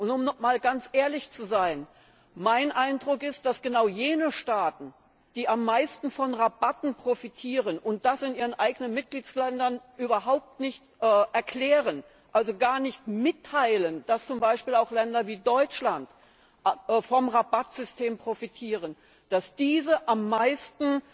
Um einmal ganz ehrlich zu sein Mein Eindruck ist, dass genau jene Staaten, die am meisten von Rabatten profitieren und das in ihren eigenen Mitgliedsländern überhaupt nicht erklären, also gar nicht mitteilen, dass zum Beispiel auch Länder wie Deutschland vom Rabattsystem profitieren, dass diese am meisten